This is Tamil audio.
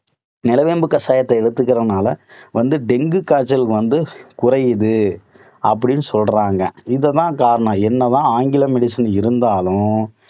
நிலவேம்பு கஷாயத்தை எடுத்துக்கறதனால வந்து dengue காய்ச்சல் வந்து குறையுது அப்படின்னு சொல்றாங்க. இது தான் காரணம் என்னதான் ஆங்கில medicine இருந்தாலும்